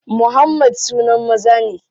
Muhammad sunan maza ne.